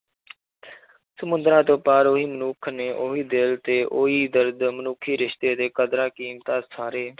ਸਮੁੰਦਰਾਂ ਤੋਂ ਪਾਰ ਵੀ ਮਨੁੱਖ ਨੇ ਉਹੀ ਦਿਲ ਤੇ ਉਹੀ ਦਰਦ ਮਨੁੱਖੀ ਰਿਸ਼ਤੇ ਦੇ ਕਦਰਾਂ ਕੀਮਤਾਂ ਸਾਰੇ